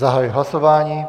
Zahajuji hlasování.